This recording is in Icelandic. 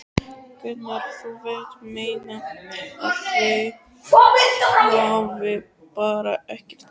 Gunnar: Þú vilt meina að þau hafi bara ekkert gert?